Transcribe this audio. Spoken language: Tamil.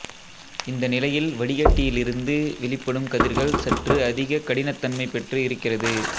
இந்த நிலையில் வடிகட்டியிலிருந்து வெளிப்படும் கதிர்கள் சற்று அதிக கடினத் தன்மைப் பெற்று இருக்கிறது